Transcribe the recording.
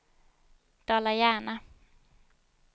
Dala-Järna